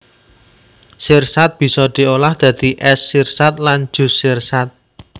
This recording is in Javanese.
Sirsat bisa diolah dadi ès sirsat lan jus sirsat